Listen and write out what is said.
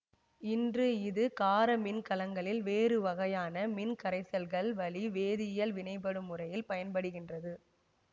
இன்று இது கார மின்கலங்களில் வேறு வகையான மின்கரைசல்கள் வழி வேதியியல் வினைப்படும் முறையில் பயன்படுகின்றது